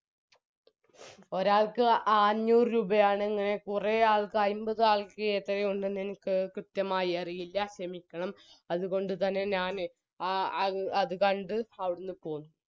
ഒരാൾക്ക് അഞ്ഞൂറ് രൂപയാണെന്ന് കുറെ ആൾക്ക് അയിമ്പത് ആൾക്ക് എത്രയുണ്ടെന്ന് എനിക്ക് കൃത്യമായി അറിയില്ല ഷെമിക്കണം അതുകോണ്ട് തന്നെ ഞാനാ ആ അ അത് കണ്ട് അവിടുന്ന് പോന്നു